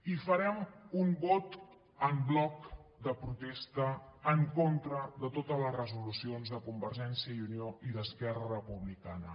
i farem un vot en bloc de protesta en contra de totes les resolucions de convergència i unió i d’esquerra republicana